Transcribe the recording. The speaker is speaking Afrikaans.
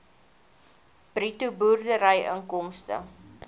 bruto boerderyinkomste